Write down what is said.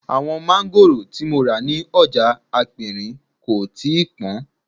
Àwọn máńgòrò tí mo rà ní ọjà aperin kò tíì pọn